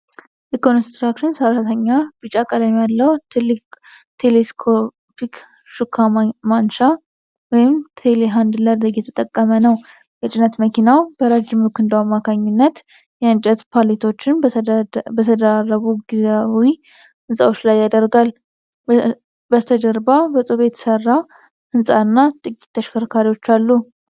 የኮንስትራክሽን ሠራተኛ ቢጫ ቀለም ያለው ትልቅ ቴሌስኮፒክ ሹካ ማንሻ (ቴሌሃንድለር) እየተጠቀመ ነው። የጭነት መኪናው በረዥም ክንዱ አማካኝነት የእንጨት ፓሌቶችን በተደራረቡ ጊዜያዊ ሕንጻዎች ላይ ያደርጋል። በስተጀርባ በጡብ የተሠራ ሕንፃና ጥቂት ተሽከርካሪዎች አሉ።